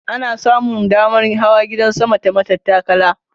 Ana samun damar hawa gidan sama ta matattakala.